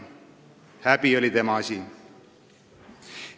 Häbi oli tema asi.